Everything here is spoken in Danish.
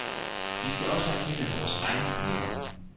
Vi skal også erkende vores egne problemer.